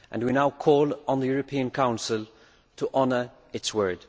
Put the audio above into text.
We now call on the European Council to honour its word.